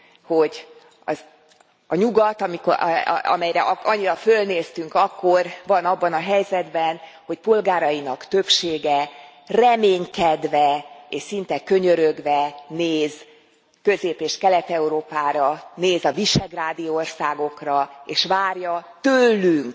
hogy a Nyugat amelyre annyira fölnéztünk akkor van abban a helyzetben, hogy polgárainak többsége reménykedve és szinte könyörögve néz Közép és Kelet Európára, néz a Visegrádi Országokra, és várja tőlünk